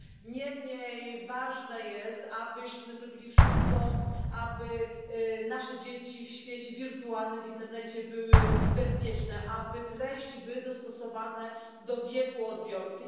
Niemniej ważne jest, abyśmy zrobili wszystko, aby nasze dzieci w świecie wirtualnym, w internecie, były bezpieczne, aby treści były dostosowane do wieku odbiorcy.